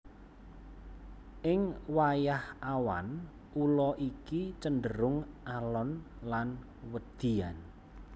Ing wayah awan ula iki cenderung alon lan wedian